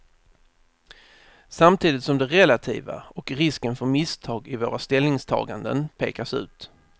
Samtidigt som det relativa och risken för misstag i våra ställningstaganden pekas ut.